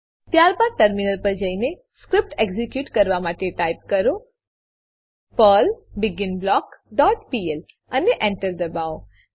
ત્યારબાદ ટર્મિનલ પર જઈને સ્ક્રીપ્ટ એક્ઝીક્યુટ કરવા માટે ટાઈપ કરો પર્લ બિગિનબ્લોક ડોટ પીએલ અને Enter દબાવો